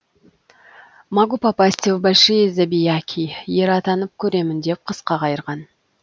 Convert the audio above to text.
могу попасть в большие забияки ер атанып көремін деп қысқа қайырған